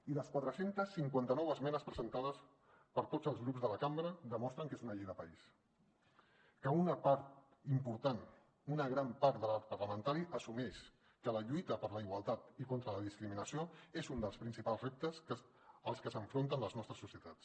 i les quatre cents i cinquanta nou esmenes presentades per tots els grups de la cambra demostren que és una llei de país que una part important una gran part de l’arc parlamentari assumeix que la lluita per la igualtat i contra la discriminació és un dels principals reptes als que s’enfronten les nostres societats